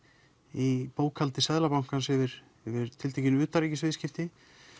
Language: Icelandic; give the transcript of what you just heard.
í bókhaldi Seðlabankans yfir tiltekin utanríkisviðskipti